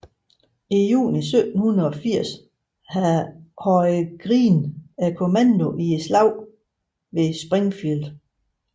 I juni 1780 havde Greene kommandoen i Slaget ved Springfield